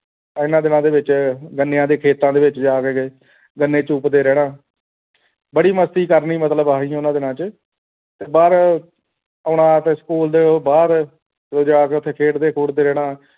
ਇਨ੍ਹਾਂ ਦਿਨਾਂ ਦੇ ਵਿਚ ਗੰਨਿਆਂ ਦੇ ਖੇਤਾਂ ਦੇ ਵਿੱਚ ਜਾ ਕੇ ਜੇ ਗੰਨੇ ਚੂਪ ਦੇ ਰਹਿਣਾ ਬੜੀ ਮਸਤੀ ਕਰਨੀ ਮਤਲਬ ਇਹ ਹੀ ਉਨ੍ਹਾਂ ਦਿਨਾਂ ਚ ਬਾਹਰ ਆਉਣਾ ਤੇ school ਦੇ ਬਾਹਰ ਉੱਥੇ ਜਾ ਕੇ ਖੇਡ ਦੇ ਖੁੱਡ ਦੇ ਰਹਿਣਾ